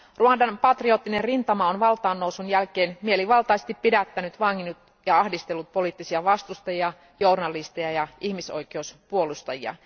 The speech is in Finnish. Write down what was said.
Ruandan patrioottinen rintama on valtaannousun jälkeen mielivaltaisesti pidättänyt, vanginnut ja ahdistellut poliittisia vastustajia, journalisteja ja ihmisoikeuspuolustajia.